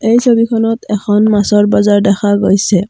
এই ছবিখনত এখন মাছৰ বজাৰ দেখা গৈছে।